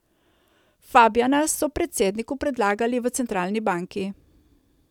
Fabijana so predsedniku predlagali v centralni banki.